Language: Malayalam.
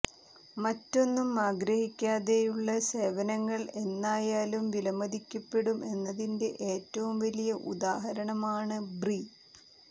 മറ്റൊന്നും ആഗ്രഹിക്കാതെയുള്ള സേവനങ്ങൾ എന്നായാലും വിലമതിക്കപ്പെടും എന്നതിന്റെ ഏറ്റവും വലിയ ഉദാഹരണമാണ് ബ്രി